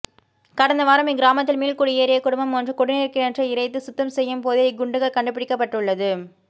கடந்த வாரம் இக்கிராமத்தில் மீள்குடியேறிய குடும்பம் ஒன்று குடிநீர் கிணற்றை இறைத்து சுத்தம் செய்யும் போதே இக்குண்டுகள் கண்டு பிடிக்கப்பட்டுள்ளது